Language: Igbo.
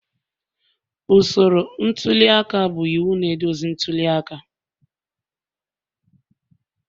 Usoro ntuli aka bụ iwu na-eduzi ntuli aka